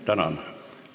Tänan!